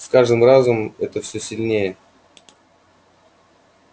с каждым разом это всё сильнее